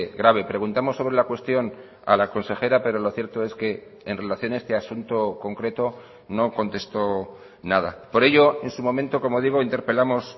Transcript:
grave preguntamos sobre la cuestión a la consejera pero lo cierto es que en relación a este asunto concreto no contestó nada por ello en su momento como digo interpelamos